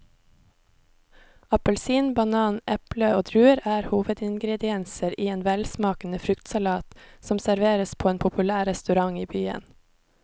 Appelsin, banan, eple og druer er hovedingredienser i en velsmakende fruktsalat som serveres på en populær restaurant i byen.